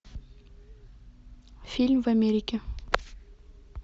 фильм в америке